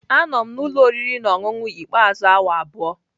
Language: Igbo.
Anọ m na ụlọ oriri na ọṅụṅụ ikpeazụ awa abụọ.